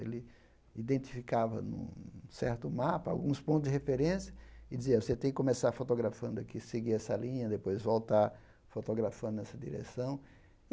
Ele identificava, num certo mapa, alguns pontos de referência e dizia, você tem que começar fotografando aqui, seguir essa linha, depois voltar fotografando nessa direção.